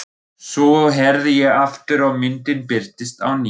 Svo herði ég aftur og myndin birtist á ný.